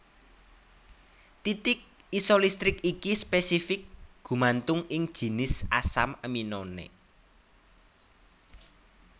Titik isolistrik iki spésifik gumantung ing jinis asam aminoné